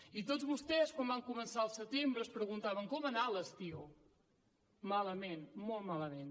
i tots vostès quan vam començar al setembre ens preguntaven com ha anat l’estiu malament molt malament